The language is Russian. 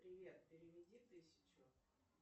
привет переведи тысячу